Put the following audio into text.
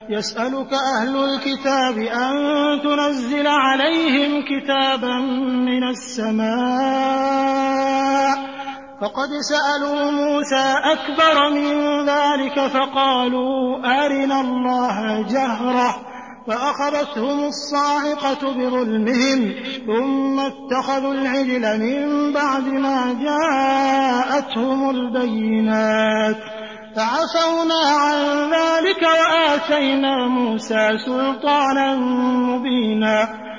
يَسْأَلُكَ أَهْلُ الْكِتَابِ أَن تُنَزِّلَ عَلَيْهِمْ كِتَابًا مِّنَ السَّمَاءِ ۚ فَقَدْ سَأَلُوا مُوسَىٰ أَكْبَرَ مِن ذَٰلِكَ فَقَالُوا أَرِنَا اللَّهَ جَهْرَةً فَأَخَذَتْهُمُ الصَّاعِقَةُ بِظُلْمِهِمْ ۚ ثُمَّ اتَّخَذُوا الْعِجْلَ مِن بَعْدِ مَا جَاءَتْهُمُ الْبَيِّنَاتُ فَعَفَوْنَا عَن ذَٰلِكَ ۚ وَآتَيْنَا مُوسَىٰ سُلْطَانًا مُّبِينًا